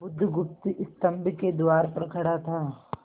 बुधगुप्त स्तंभ के द्वार पर खड़ा था